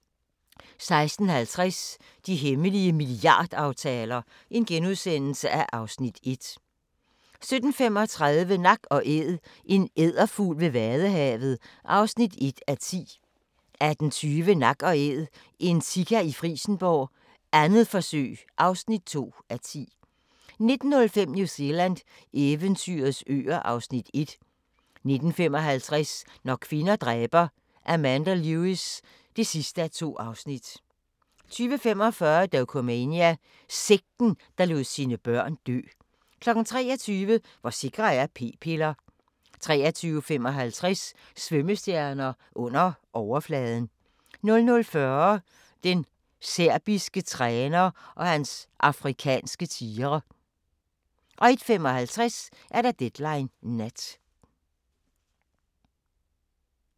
16:50: De hemmelige milliardaftaler (Afs. 1)* 17:35: Nak & Æd – en edderfugl ved vadehavet (1:10) 18:20: Nak & Æd – en sika i Frijsenborg, 2. forsøg (2:10) 19:05: New Zealand – eventyrets øer (Afs. 1) 19:55: Når kvinder dræber – Amanda Lewis (2:2) 20:45: Dokumania: Sekten, der lod sine børn dø 23:00: Hvor sikre er p-piller? 23:55: Svømmestjerner – under overfladen 00:40: Den serbiske træner og hans afrikanske tigre 01:55: Deadline Nat